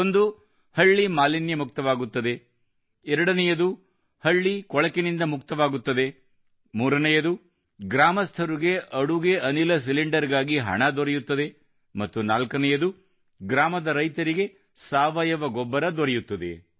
ಒಂದು ಹಳ್ಳಿ ಮಾಲಿನ್ಯ ಮುಕ್ತವಾಗುತ್ತದೆ ಎರಡನೆಯದು ಹಳ್ಳಿ ಕೊಳಕಿನಿಂದ ಮುಕ್ತವಾಗುತ್ತದೆ ಮೂರನೆಯದು ಗ್ರಾಮಸ್ಥರಿಗೆ ಅಡುಗೆ ಅನಿಲ ಸಿಲಿಂಡರ್ ಗಾಗಿ ಹಣ ದೊರೆಯುತ್ತದೆ ಮತ್ತು ನಾಲ್ಕನೆಯದು ಗ್ರಾಮದ ರೈತರಿಗೆ ಸಾವಯವ ಗೊಬ್ಬರ ದೊರೆಯುತ್ತದೆ